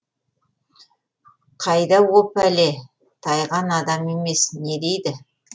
қайда о пәле тайған адам емес не дейді